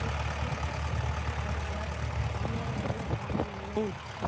મુસ્તકીમ સાથે બને લગન કરવાનો નિર્ણય લીધો હતો